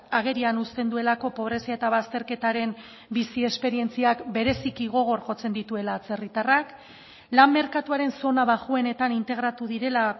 agerian uzten duelako pobrezia eta bazterketaren bizi esperientziak bereziki gogor jotzen dituela atzerritarrak lan merkatuaren zona baxuenetan integratu direla